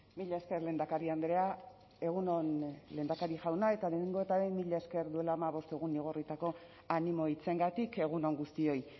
mila esker lehendakari andrea egun on lehendakari jauna eta lehenengo eta behin mila esker duela hamabost egun igorritako animo hitzengatik egun on guztioi